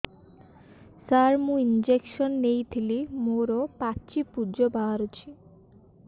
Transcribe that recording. ସାର ମୁଁ ଇଂଜେକସନ ନେଇଥିଲି ମୋରୋ ପାଚି ପୂଜ ବାହାରୁଚି